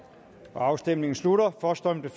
afstemningen slutter for stemte